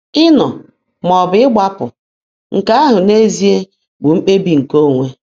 Ịnọ maọbụ ịgbapụ — nke ahụ n’ezie bụ mkpebi nke onwe.